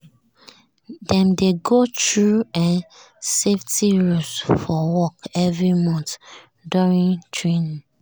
dem dey go through um safety rules for work every month during training.